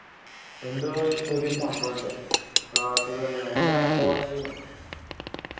എന്തോ ഒരു പുതിയ സംഭവം ഇണ്ട് പ്രവാസികൾ വന്ന് കഴിഞ്ഞ എന്താ quarantine ഓ